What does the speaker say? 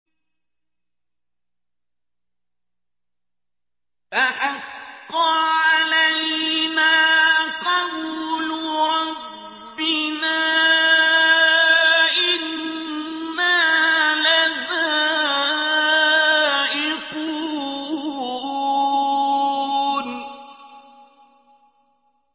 فَحَقَّ عَلَيْنَا قَوْلُ رَبِّنَا ۖ إِنَّا لَذَائِقُونَ